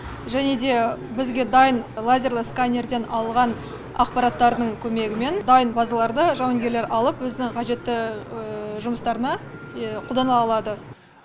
және де бізге дайын лазерлі сканерден алған ақпараттардың көмегімен дайын базаларды жауынгерлер алып өзінің қажетті жұмыстарына қолдана алады